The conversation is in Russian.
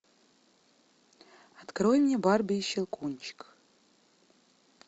открой мне барби и щелкунчик